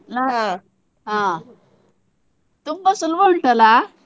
ಹ ತುಂಬ ಸುಲ್ಬ ಉಂಟಲ್ಲ.